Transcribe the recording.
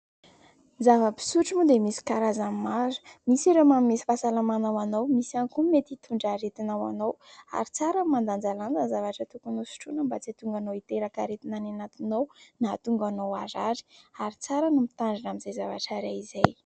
Ny zava-pisotro moa dia misy karazany maro. Misy ireo manome fahasalamana ho anao, misy ihany koa ny mety hitondra aretina ho anao ary tsara ny mandanjalanja ny zavatra tokony ho sotroina mba tsy hahatonga anao hiteraka aretina any anatinao na hahatonga anao harary ary tsara ny mitandrina izay zavatra iray izay.